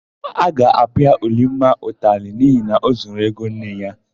A ga-apịa Ulimma ụtalị n'ihi na ọ zuru ego nne ya.